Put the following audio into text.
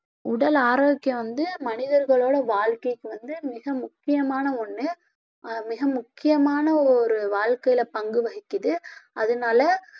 உடல் ஆரோக்கியம் வந்து மனிதர்களோட வாழ்க்கைக்கு வந்து மிக முக்கியமான ஒண்ணு அஹ் மிக முக்கியமான ஒரு வாழ்க்கையில பங்கு வகிக்குது அதனால